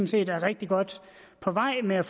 set er rigtig godt på vej med at